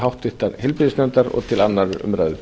háttvirtrar heilbrigðisnefndar og til annarrar umræðu